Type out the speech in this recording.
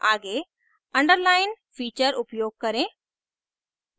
आगे underline feature उपयोग करें